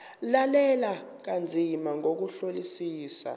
lalela kanzima ngokuhlolisisa